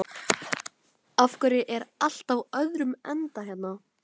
Af hverju er allt á öðrum endanum hérna?